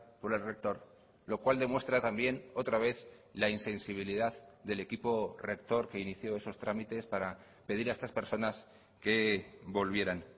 por el rector lo cual demuestra también otra vez la insensibilidad del equipo rector que inició esos trámites para pedir a estas personas que volvieran